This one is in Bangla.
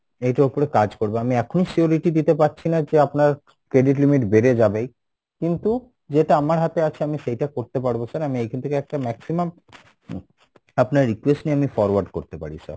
এটার ওপরে কাজ করবে আমি এখনি surety দিতে পাচ্ছিনা যে আপনার credit limit বেড়ে যাবেই, কিন্তু যেটা আমার হাতে আছে আমি সেইটা করতে পারবো sir আমি এখান থেকে একটা maximum আপনার request নিয়ে forward করতে পারি sir